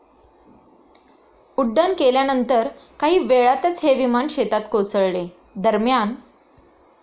उड्डाण केल्यानंतर काही वेळातच हे विमान शेतात कोसळले. दरम्यान,.